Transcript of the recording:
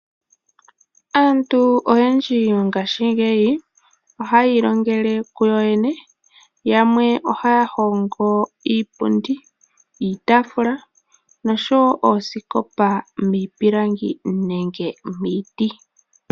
Aantu oyendji mongaashingeyi ohaayi longele kuyo yene. Yamwe ohaya hongo iipundi, iitaafula, noshowo oosikopa miipilangi nenge miiti.